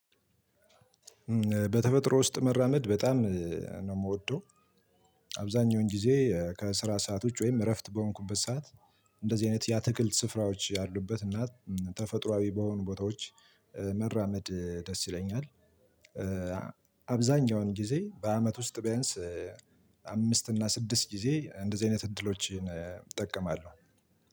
በተፈጥሮ ውስጥ መራመድ በጣም ነው የምወደው። አብዛኛውን ጊዜ ከስራ ሰዓት ውጭ ወይም እረፍት በሆንኩበት ሰዓት እንደዚህ አይነት የአትክልት ስፍራዎች ያሉበት እና ተፈጥሮአዊ በሆኑ ቦታዎች መራመድ ደስ ይለኛል። አብዛኛውን ጊዜ በአመት ውስጥ ቢያንስ አምስት እና ስድስት ጊዜ እንደዚህ አይነት እድሎችን እጠቀማለሁ።